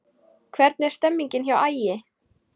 Hvernig er stemningin hjá Ægi?